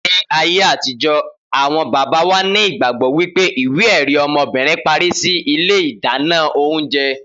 Ni ayé àtijó àwon bàbá wà nígbàgbọ́ wípé ìwé èrí ọmọbìnrin parí síi ilé ìdáná oúnjẹ